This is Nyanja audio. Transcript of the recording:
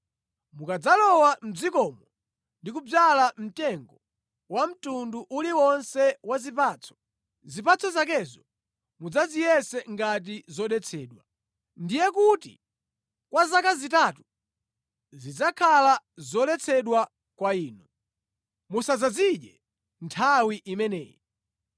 “ ‘Mukadzalowa mʼdzikomo ndi kudzala mtengo wa mtundu uliwonse wa zipatso, zipatso zakezo mudzaziyese ngati zodetsedwa. Ndiye kuti kwa zaka zitatu zidzakhale zoletsedwa kwa inu. Musadzazidye nthawi imeneyi.